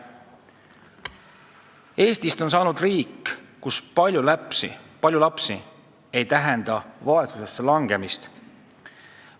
Eestist on saanud riik, kus palju lapsi ei tähenda vaesusesse langemist.